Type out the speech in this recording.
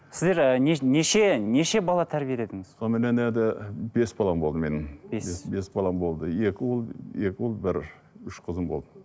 сіздер і неше неше бала тәрбиеледіңіз сонымен енді бес балам болды менің бес бес балам болды екі ұл екі ұл бір үш қызым болды